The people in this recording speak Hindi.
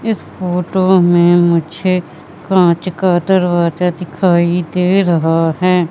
इस फोटो में मुझे कांच का दरवाजा दिखाई दे रहा है।